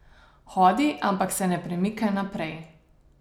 Hodi, ampak se ne premika naprej.